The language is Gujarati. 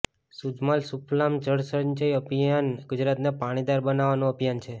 સુજલામ સુફલામ જળસંચય અભિયાન ગુજરાતને પાણીદાર બનાવવાનું અભિયાન છે